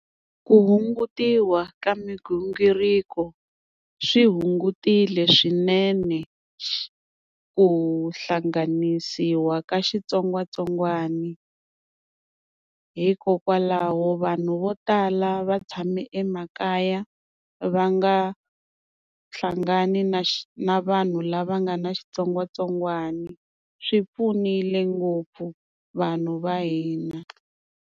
Ku hungutiwa ka migingiriko swi hungutile swinene ku hlanganisiwa ka xitsongwatsongwana, hikokwalaho vanhu vo tala va tshami emakaya va nga hlangani na na vanhu lava nga na xitsongwatsongwani swi pfunile ngopfu vanhu va hina.